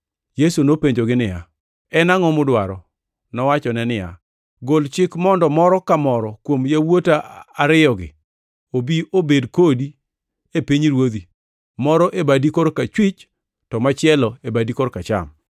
Yesu nopenjogi niya, “En angʼo mudwaro?” Nowachone niya, “Gol chik mondo moro ka moro kuom yawuota ariyogi obi obed kodi e pinyruodhi, moro e badi korachwich to machielo e badi koracham.”